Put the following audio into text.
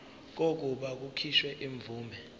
kokuba kukhishwe imvume